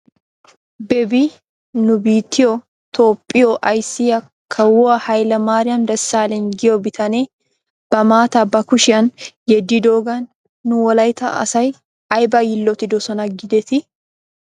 Bebi nu biittiyoo toophphiyoo ayssiyaa kawuwaa haylemaariyam desalegn giyoo bitane ba maataa ba kushiyan yeddidoogan nu wolaytta asay ayba yiilotidosona giidetii?